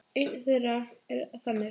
Ein þeirra er þannig